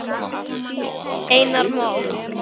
Einar Má.